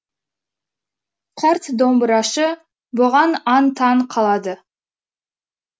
қарт домбырашы бұған аң таң қалады